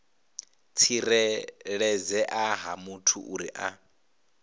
tsireledzea ha muthu uri a